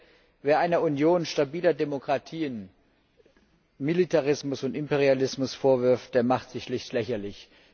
Ich denke, wer einer Union stabiler Demokratien Militarismus und Imperialismus vorwirft, der macht sich schlicht lächerlich.